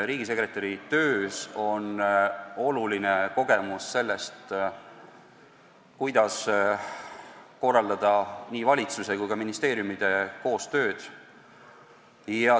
Riigisekretäri töös on oluline kogemus sellest, kuidas korraldada nii valitsuse tööd kui ka ministeeriumide koostööd.